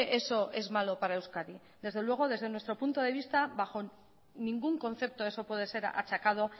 eso es malo para euskadi desde luego desde nuestro punto de vista bajo ningún concepto eso puede ser achacado